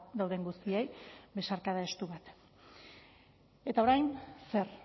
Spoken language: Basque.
dauden guztiei besarkada estu bat eta orain zer